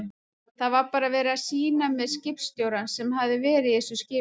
Það var bara verið að sýna mér skipstjórann sem hafði verið í þessu skipi.